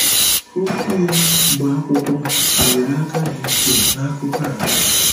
Okwu ya, bụ́ akwụkwọ, nyere aka dị ukwuu nakụkụ a.